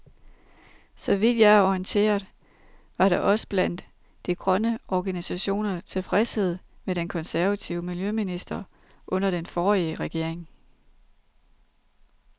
Så vidt jeg er orienteret, var der også blandt de grønne organisationer tilfredshed med den konservative miljøminister under den forrige regering.